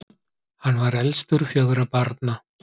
hann var elstur fjögurra barna